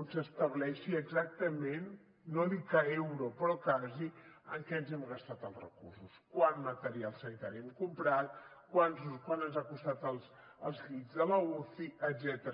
on s’estableixi exactament no dic a euro però quasi en què ens hem gastat els recursos quant material sanitari hem comprat quant ens han costat els llits de l’uci etcètera